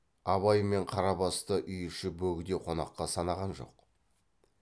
абай мен қарабасты үй іші бөгде қонаққа санаған жоқ